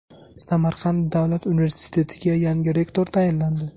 Samarqand davlat universitetiga yangi rektor tayinlandi.